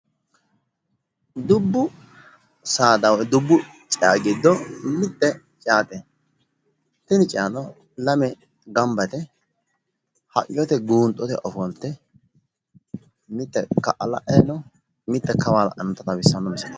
Dubbu Saada gidoo mitte ceate tini ceano lamenti gamba yite haqqichote guunxote ofolte mitte ka'a la'anna mitte kawa la'annota xawissanno misileeti.